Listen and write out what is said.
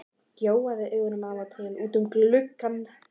Gjóaði augunum af og til út um gluggann.